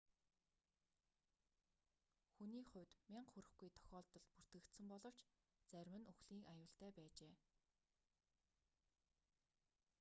хүний хувьд мянга хүрэхгүй тохиолдол бүртгэгдсэн боловч зарим нь үхлийн аюултай байжээ